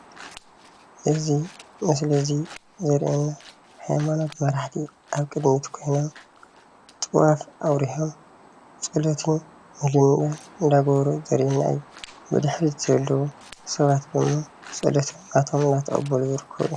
እዚ ምስሊ እዚ ዘርእየና ሃይማኖት መራሕቲ ኣብ ቅድሚት ኮይኖም ጥዋፍ ኣብሪሆም ፆሎትን ምህለላን እንዳገበሩ ዘርእየና እዩ፡፡ ብድሕሪት ዘለዉ ሰባት ድማ ፆሎት ካብኣቶ እንዳተቀበሉ ዝርከቡ እዮም፡፡